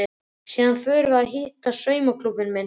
Síðan förum við að hitta saumaklúbbinn minn.